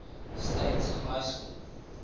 state high school